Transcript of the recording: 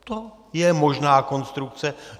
To je možná konstrukce.